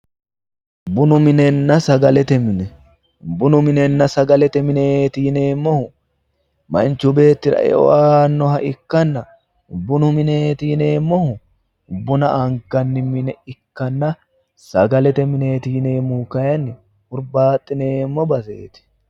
bunu minenna sagalete mine bunu minenna sagalete mineeti yineemmohu manchu beettira eo aannoha ikkanna bunu mineeti yineemmohu buna anganni mine ikkanna sagalete mineeti yineemmohu kayiinni hurbaaxineemmo baseeti.